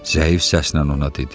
Zəif səslə ona dedi.